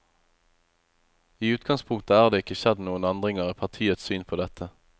I utgangspunktet er det ikke skjedd noen endringer i partiets syn på dette.